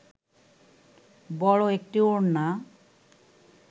বড় একটি ওড়না